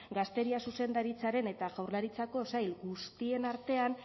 gazteria zuzendaritzaren eta jaurlaritzako sail guztien artean